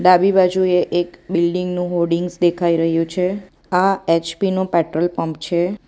ડાબી બાજુએ એક બિલ્ડીંગનું હોડીંગ્સ દેખાઈ રહ્યું છે આ એચ_પી નું પેટ્રોલ પંપ છે.